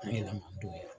An yɛlɛmana don